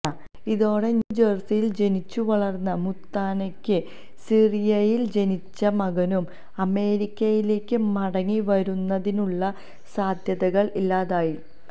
ഇതോടെ ന്യൂജേഴ്സിയിൽ ജനിച്ചു വളർന്ന മുത്താനയ്ക്കും സിറിയയിൽ ജനിച്ച മകനും അമേരിക്കയിലേക്ക് മടങ്ങി വരുന്നതിനുള്ള സാധ്യതകൾ ഇല്ലാതായി